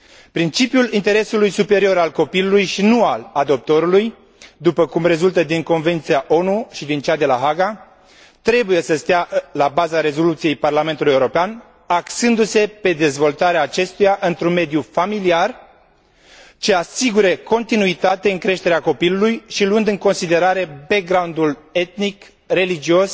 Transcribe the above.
Principiul interesului superior al copilului și nu al adoptorului, după cum rezultă din Convenția ONU și din cea de la Haga, trebuie să stea la baza rezoluției Parlamentului European, axându se pe dezvoltarea acestuia într un mediu familiar, ce asigură continuitate în creșterea copilului și luând în considerare backgroundul etnic, religios,